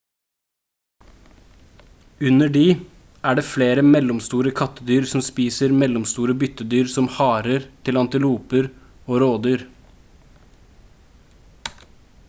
under de er det flere mellomstore kattedyr som spiser mellomstore byttedyr som harer til antiloper og rådyr